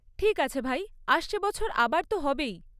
ঠিক আছে ভাই, আসছে বছর আবার তো হবেই।